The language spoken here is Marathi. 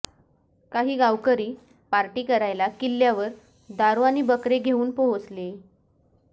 काही गावकरी पार्टी करायला किल्ल्यावर दारू आणि बकरे घेऊन पोहोचले